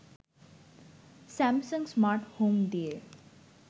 Samsung smart home দিয়ে